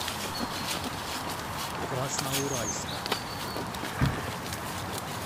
красноуральска